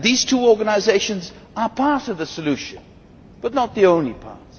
These two organisations are part of the solution, but not the only part.